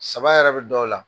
Saba yɛrɛ bi dɔw la.